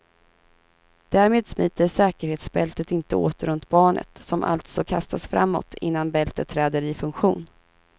Därmed smiter säkerhetsbältet inte åt runt barnet, som alltså kastas framåt innan bältet träder i funktion.